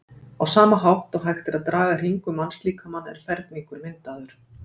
Á sama hátt og hægt er að draga hring um mannslíkamann er ferningur myndaður.